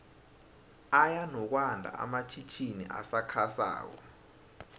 aya nokwando amatjhitjini asakha sako